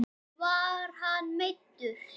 Var hann meiddur?